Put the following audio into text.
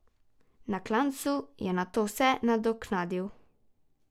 Na klancu je nato vse nadoknadil.